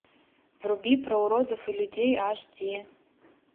вруби про уродов и людей аш ди